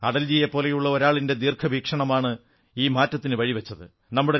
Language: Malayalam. അടൽജിയെപ്പോലുള്ള ഒരാളിന്റെ ദീർഘവീക്ഷണമാണ് ഈ മാറ്റത്തിനു വഴി വച്ചത്